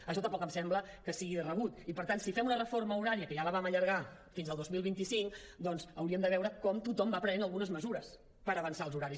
això tampoc em sembla que sigui de rebut i per tant si fem una reforma horària que ja la vam allar·gar fins al dos mil vint cinc doncs hauríem de veure com tothom va prenent algunes mesures per avançar els horaris